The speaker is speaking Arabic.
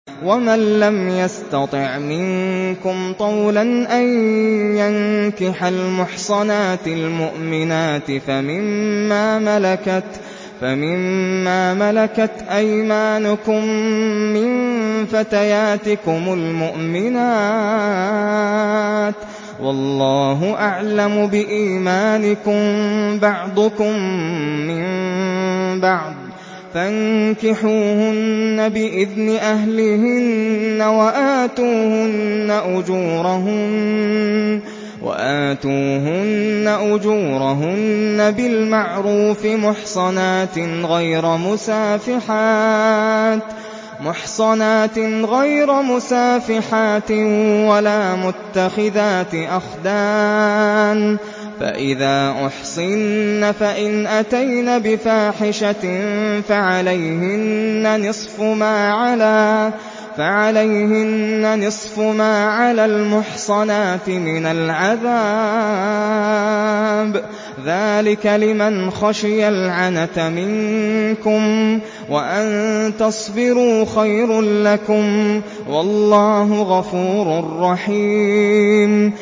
وَمَن لَّمْ يَسْتَطِعْ مِنكُمْ طَوْلًا أَن يَنكِحَ الْمُحْصَنَاتِ الْمُؤْمِنَاتِ فَمِن مَّا مَلَكَتْ أَيْمَانُكُم مِّن فَتَيَاتِكُمُ الْمُؤْمِنَاتِ ۚ وَاللَّهُ أَعْلَمُ بِإِيمَانِكُم ۚ بَعْضُكُم مِّن بَعْضٍ ۚ فَانكِحُوهُنَّ بِإِذْنِ أَهْلِهِنَّ وَآتُوهُنَّ أُجُورَهُنَّ بِالْمَعْرُوفِ مُحْصَنَاتٍ غَيْرَ مُسَافِحَاتٍ وَلَا مُتَّخِذَاتِ أَخْدَانٍ ۚ فَإِذَا أُحْصِنَّ فَإِنْ أَتَيْنَ بِفَاحِشَةٍ فَعَلَيْهِنَّ نِصْفُ مَا عَلَى الْمُحْصَنَاتِ مِنَ الْعَذَابِ ۚ ذَٰلِكَ لِمَنْ خَشِيَ الْعَنَتَ مِنكُمْ ۚ وَأَن تَصْبِرُوا خَيْرٌ لَّكُمْ ۗ وَاللَّهُ غَفُورٌ رَّحِيمٌ